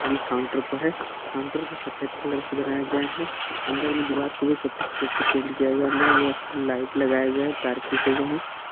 ये काउंटर पर है काउंटर को सफेद कलर से बनाया गया है अंदर में दीवार को भी सफेद कलर से पेंट किया गया है अंदर में बहुत सारी लाइट लगाया गया है तार खींचे गए हैं।